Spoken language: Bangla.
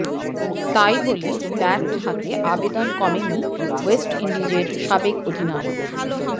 তাই বলে ব্যাট হাতে আবেদন কমেনি ওয়েস্ট ইন্ডিজের সাবেক অধিনায়ক